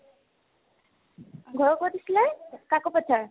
ঘৰ ক'ত আছিলে কাকোপথাৰ